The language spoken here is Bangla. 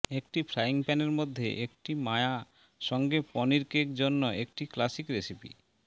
একটি ফ্রাইং প্যানের মধ্যে একটি মায়া সঙ্গে পনির কেক জন্য একটি ক্লাসিক রেসিপি